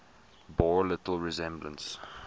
bore little resemblance